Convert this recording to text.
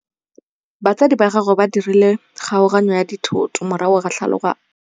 Batsadi ba gagwe ba dirile kgaoganyô ya dithoto morago ga tlhalanô.